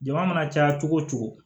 Jama mana caya cogo o cogo